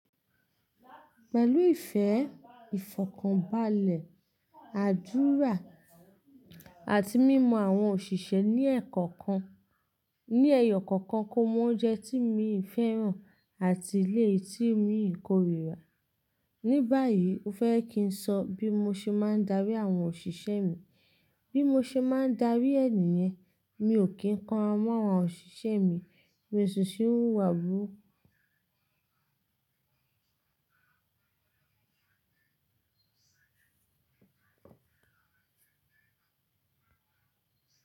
Pẹ̀lú ìfẹ́, ìfọ̀kànbalẹ̀, àdúrà, àti mímọ àwọn òṣìṣẹ́ ní ẹyọ kọ̀ọ̀kan, kó mọ́ oúnjẹ tí imi fẹ́ràn àti eléyi tí imi i kórira. Ní báyìí, o fẹ́ kí n sọ bí mo ṣe máa ń darí àwọn òṣìṣẹ́ mi. Bí mo ṣe máa ń darí è nìyen, mi ò kí ń kanra mọ̀ àwọn òṣìṣẹ́ mi, mi o ṣi kiń wuwà búruku.